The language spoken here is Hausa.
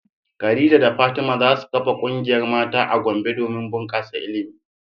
Khadija da Fatima za su kafa kungiyar mata a Gombe domin bunkasa ilimi.